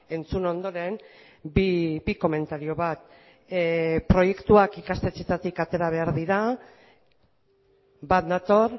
entzun ondoren bi komentario bat proiektuak ikastetxeetatik atera behar dira bat nator